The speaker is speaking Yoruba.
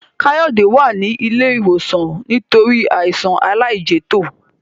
Kayode wá ní ilé ìwòsan nítorí Àìsàn àìlẹjẹtó